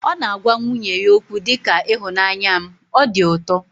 Ọ na-agwa nwunye ya okwu dị ka 'ịhụnanya m', o di ụtọ